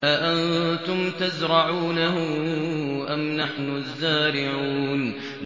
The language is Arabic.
أَأَنتُمْ تَزْرَعُونَهُ أَمْ نَحْنُ الزَّارِعُونَ